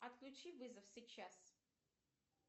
отключи вызов сейчас